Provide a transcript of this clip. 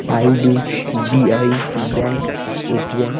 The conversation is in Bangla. I. D. B. I. Bank ATM..